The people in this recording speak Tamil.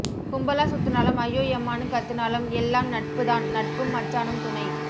கும்பலா சுத்துனாலும் ஐயோ யம்மான்னு கத்தினாலும் எல்லாம் நட்பு தான் நட்பும் மச்சானும் துணை